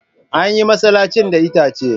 An yi masallacin da itace.